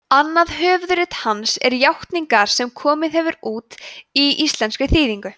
annað höfuðrit hans er játningar sem komið hefur út í íslenskri þýðingu